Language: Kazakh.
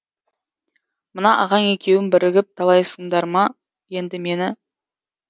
мына ағаң екеуің бірігіп талайсыңдар ма енді мені